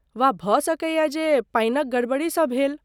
वा भऽ सकैयै जे पानिक गड़बड़ीसँ भेल।